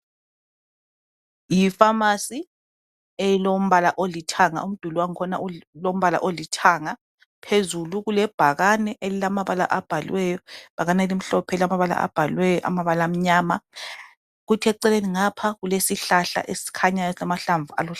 Yipharmacy elombala olithanga umduli wakhona ulombala olithanga. Phezulu kulebhakane elilamabala abhaliweyo. Ibhakane elimhlophe elilamabala abhaliweyo amabala amnyama kuthi eceleni ngapha kulesihlahla esikhanyayo esilamahlamvu aluhlaza.